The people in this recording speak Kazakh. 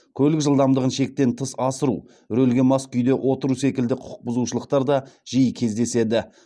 көлік жылдамдығын шектен тыс асыру рөлге мас күйде отыру секілді құқықбұзушылықтар да жиі кездеседі